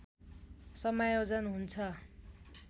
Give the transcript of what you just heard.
समायोजन हुन्छ